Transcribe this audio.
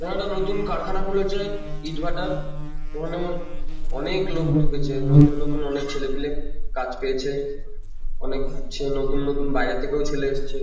ওখানে একটা নতুন কারখানা খুলেছে ইটভাটার। ওখানে অনেক লোক ঢুকেছে। নতুন নতুন অনেক ছেলে পেলে কাজ পেয়েছে। অনেক ছে নতুন নতুন বাইরে থেকেও ছেলে এসছে ।